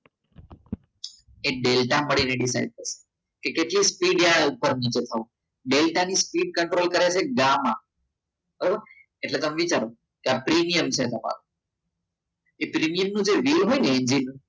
એ delta મળી રહેશે કે કેટલું સ્પીડ ઉપર નીચે થવાનું ડેલ્ટાની speed control કરે છે ગામા બરોબર એટલે તમે વિચારો કે આ પ્રીમિયમ છે તમારું એ પ્રીમિયમ નું રીલ હોય ને